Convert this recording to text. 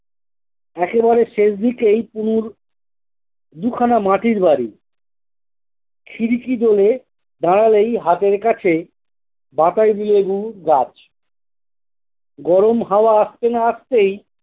একেবারেই শেষদিকেই পুনুর দুখানা মাটির বাড়ি শিরীকি বলে দাড়ালেই হাতের কাছে বাতাবি লেবু গাছ গরম হাওয়া আসতে না আসতেই-